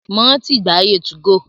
Mo rántí ìgbà ayé 2go.